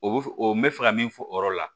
O bɛ f o n bɛ fɛ ka min fɔ o yɔrɔ la